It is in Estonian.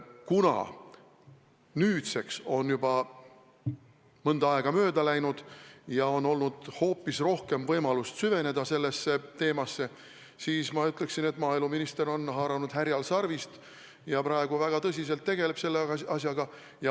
Kuna nüüdseks on juba natuke aega mööda läinud ja on olnud rohkem võimalust süveneda sellesse teemasse, siis ma ütleksin, et maaeluminister on haaranud härjal sarvist ja praegu väga tõsiselt tegeleb selle asjaga.